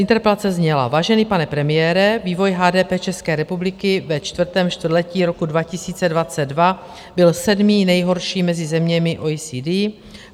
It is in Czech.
Interpelace zněla: "Vážený pane premiére, vývoj HDP České republiky ve čtvrtém čtvrtletí roku 2022 byl sedmý nejhorší mezi zeměmi OECD.